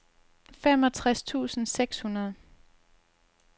femogtres tusind seks hundrede